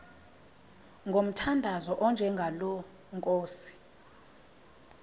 ngomthandazo onjengalo nkosi